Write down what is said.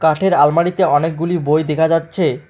কাঠের আলমারিতে অনেকগুলি বই দেখা যাচ্ছে।